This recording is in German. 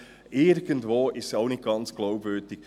Irgendwo ist es auch nicht ganz glaubwürdig.